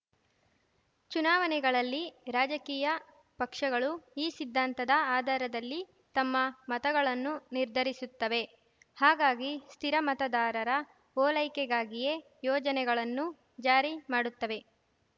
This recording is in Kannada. ಚುನಾವಣೆಗಳಲ್ಲಿ ರಾಜಕೀಯ ಪಕ್ಷಗಳು ಈ ಸಿದ್ಧಾಂತದ ಆಧಾರದಲ್ಲಿ ತಮ್ಮ ಮತಗಳನ್ನು ನಿರ್ಧರಿಸುತ್ತವೆ ಹಾಗಾಗಿ ಸ್ಥಿರ ಮತದಾರರ ಓಲೈಕೆಗಾಗಿಯೇ ಯೋಜನೆಗಳನ್ನು ಜಾರಿ ಮಾಡುತ್ತವೆ